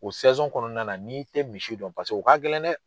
O kɔnɔna na n'i i tɛ misi dɔn paseke o ka gɛlɛn dɛ.